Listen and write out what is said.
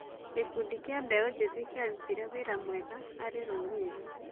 Gĩkundi kĩa mbeũ njĩthĩ kĩarutire wĩra mwega harĩ rũrĩrĩ.